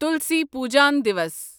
تُلسی پُجان دیوس